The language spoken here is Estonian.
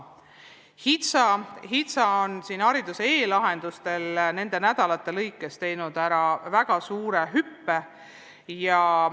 HITSA on hariduse e-lahenduste vallas nende nädalate jooksul teinud väga suure arenguhüppe.